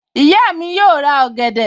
Ìyá mi yóò ra ọ̀gẹ̀dẹ̀